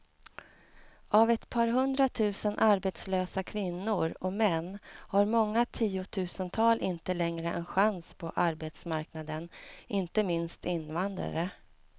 Av ett par hundratusen arbetslösa kvinnor och män har många tiotusental inte längre en chans på arbetsmarknaden, inte minst invandrare.